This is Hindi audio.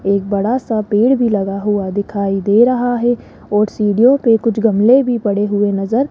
एक बड़ा सा पेड़ भी लगा हुआ दिखाई दे रहा है और सीढ़ियों पे कुछ गमले भी पड़े हुए नजर --